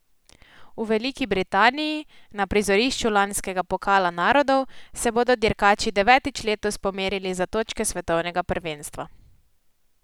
V Veliki Britaniji, na prizorišču lanskega pokala narodov, se bodo dirkači devetič letos pomerili za točke svetovnega prvenstva.